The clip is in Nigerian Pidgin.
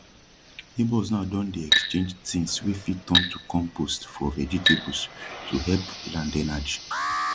neighbours now don dey exchange tins wey fit turn to compost for vegetables to hep land energi